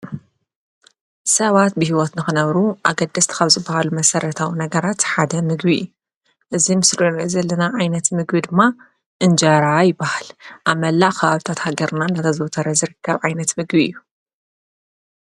ሰባት ብሂወት ንኽነብሩ ኣገደስቲ ካብ ዝበሃሉ መሰረታዊ ነገራት ሓደ ምግቢ እዩ ። እዚ ምስሊ እንሪኦ ዘለና ዓይነት ምግቢ ድማ እንጀራ ይበሃል። ኣብ መላእ ኸባብታት ሃገርና እንዳተዘውተረ ዝርከብ ዓይነት ምግቢ እዩ።